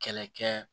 Kɛlɛ kɛ